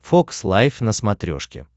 фокс лайв на смотрешке